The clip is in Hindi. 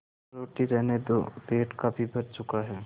रोटी रहने दो पेट काफी भर चुका है